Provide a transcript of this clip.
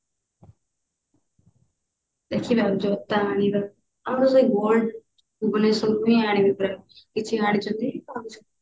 ଦେଖିବା ଜୋତା ଆଣିବା ଆଉ ସେଇ gold ଭୁବନେଶ୍ବରରୁ ହିଁ ଆଣିବି ପୁରା କିଛି ଆଣିଛନ୍ତି ଆଉ କିଛି